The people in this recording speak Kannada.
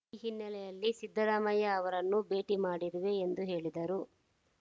ಈ ಹಿನ್ನೆಲೆಯಲ್ಲಿ ಸಿದ್ದರಾಮಯ್ಯ ಅವರನ್ನು ಭೇಟಿ ಮಾಡಿರುವೆ ಎಂದು ಹೇಳಿದರು